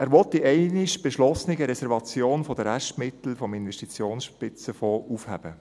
Er will die einmal beschlossene Reservation der Restmittel des Investitionsspitzenfonds aufheben.